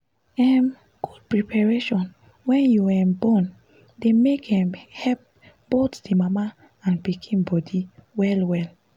um good preparation wen you um born dey make um help both the mama and pikin body well well